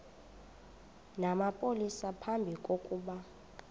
namapolisa phambi kokuba